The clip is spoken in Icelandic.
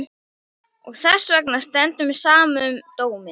Og þessvegna stendur mér á sama um dóminn.